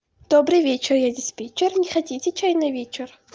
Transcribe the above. добрый вечер я диспетчер не хотите чай на вечер